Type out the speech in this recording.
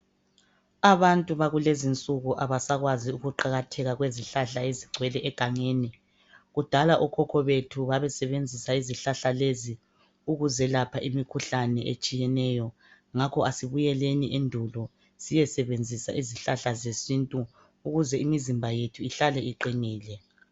Abantu bakulezinsuku abasakwazi ukuqakatheka kwezihlahla ezigcwele egangeni kudala okhokho bethu babesebenzisa izihlahla lezi ukuziyelapha imikhuhlane etshiyeneyo ngakho asibuyeleni endulo siyesebenzisa izihlahla zesintu ukuze imizimba yethu ihlale iqinile